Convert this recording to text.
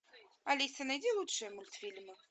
алиса найди лучшие мультфильмы